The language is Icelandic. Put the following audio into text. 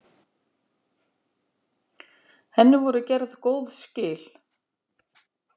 Henni voru gerð góð skil.